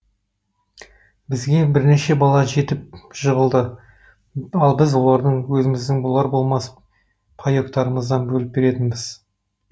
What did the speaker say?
бізге бірнеше бала жетіп жығылды ал біз оларды өзіміздің болар болмас паектарымыздан бөліп беретінбіз